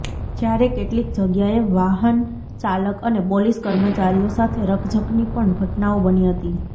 જ્યારે કેટલીક જગ્યાએ વાહન ચાલક અને પોલીસ કર્મચારીઓ સાથે રકઝકની પણ ઘટનાઓ બની હતી